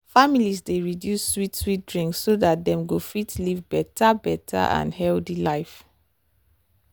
families dey reduce sweet sweet drinks so dat dem go fit live better better and healthy life.